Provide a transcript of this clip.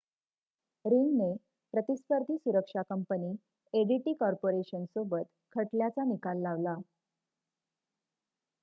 रिंगने प्रतिस्पर्धी सुरक्षा कंपनी एडीटी कॉर्पोरेशनसोबत खटल्याचा निकाल लावला